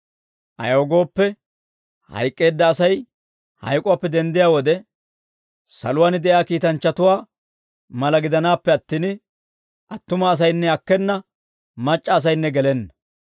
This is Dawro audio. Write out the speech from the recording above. Ayaw gooppe, hayk'k'eedda Asay hayk'uwaappe denddiyaa wode, saluwaan de'iyaa kiitanchchatuwaa mala gidanaappe attin, attuma asaynne akkena; mac'c'a asaynne gelenna.